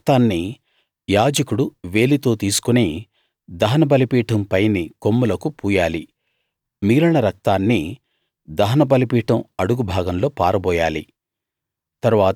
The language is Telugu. దాని రక్తాన్ని యాజకుడు వేలితో తీసుకుని దహన బలిపీఠం పైని కొమ్ములకు పూయాలి మిగిలిన రక్తాన్ని దహన బలిపీఠం అడుగు భాగంలో పారబోయాలి